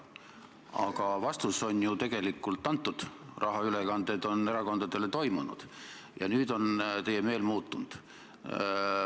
Aga vastus on ju tegelikult antud, rahaülekanded erakondadele on tehtud ja nüüd on teie meel muutunud.